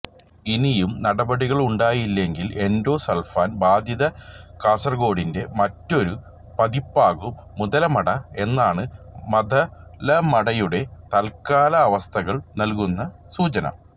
ഇനിയും നടപടികളുണ്ടായില്ലെങ്കില് endosulfan ബാധിത കാസര്കോഡിന്റെ മറ്റൊരു പതിപ്പാകും മുതലമട എന്നാണ് മതലമടയുടെ തല്ക്കാലാവസ്ഥകള് നല്കുന്ന സൂചന